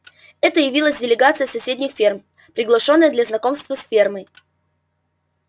это явилась делегация с соседних ферм приглашённая для знакомства с фермой